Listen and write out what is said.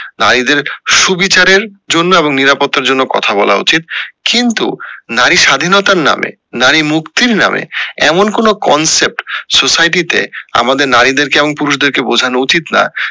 নারীদের সুবিচারের জন্য এবং নিরাপত্তার জন্য কথা বলা উচিত কিন্তু নারীর স্বাধীনতার নাম নারী মুক্তির নামে এমন কোনো concept society তে আমাদের নারীদের এবং পুরুষদের কে বোঝানো উচিত না